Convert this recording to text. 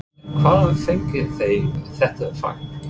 En hvaðan fengu þeir þetta fagn?